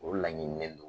O laɲinilen don